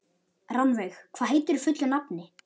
Rannveig, hvað heitir þú fullu nafni?